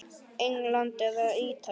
England eða Ítalía?